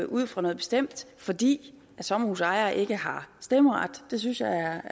ud fra noget bestemt fordi sommerhusejere ikke har stemmeret synes jeg